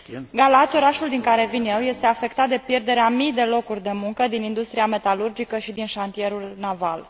Galați, orașul din care vin eu, este afectat de pierderea a mii de locuri de muncă din industria metalurgică și din șantierul naval.